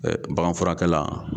Ɛ baganfurakɛla